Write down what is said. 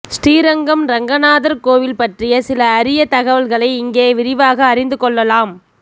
ஸ்ரீரங்கம் ரெங்கநாதர் கோவில் பற்றிய சில அரிய தகவல்களை இங்கே விரிவாக அறிந்து கொள்ளலாம்